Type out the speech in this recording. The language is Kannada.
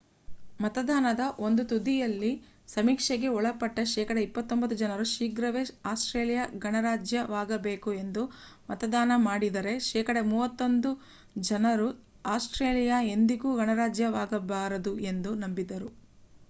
ಮತದಾನದ ಒಂದು ತುದಿ ಯಲ್ಲಿ ಸಮೀಕ್ಷೆಗೆ ಒಳಪಟ್ಟ ಶೇಕಡ 29 ಜನರು ಶೀಘ್ರವೇ ಆಸ್ಟ್ರೇಲಿಯಾ ಗಣರಾಜ್ಯವಾಗಬೇಕು ಎಂದು ಮತದಾನ ಮಾಡಿದರೆ ಶೇಕಡ 31 ಜನರು ಅಸ್ಟ್ರೇಲಿಯಾ ಎಂದಿಗೂ ಗಣರಾಜ್ಯವಾಗಬಾರದು ಎಂದು ನಂಬಿದ್ದರು